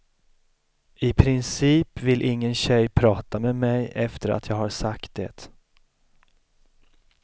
I princip vill ingen tjej prata med mig efter att jag har sagt det.